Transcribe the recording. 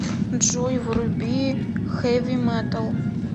джой вруби хэви метал